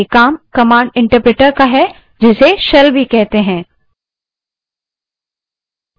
ये command interpreter का कार्य है जिसे shell भी कहते हैं